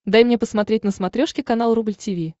дай мне посмотреть на смотрешке канал рубль ти ви